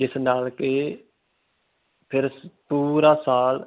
ਜਿਸ ਨਾਲ ਕਿ ਪੂਰਾ ਸਾਲ